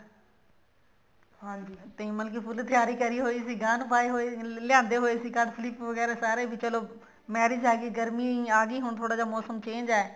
ਹਾਂਜੀ ਅਸੀਂ ਮਤਲਬ ਕੇ full ਤਿਆਰੀ ਕਰੀ ਹੋਈ ਸੀ ਐਨ ਪਾਏ ਹੋਏ ਲਿਆਂਦੇ ਹੋਏ ਸੀ ਵਗੈਰਾ ਸਾਰੇ marriage ਆਗੀ ਹੁਣ ਥੋੜਾ ਜਾ ਮੋਸਮ change ਹੈ